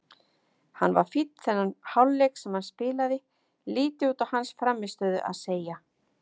Hann var fínn þennan hálfleik sem hann spilaði, lítið út á hans frammistöðu að segja.